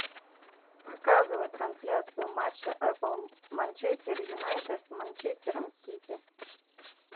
показывай трансляцию матча апл манчестер юнайтед с манчестером сити